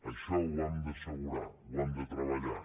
això ho hem d’assegurar ho hem de treballar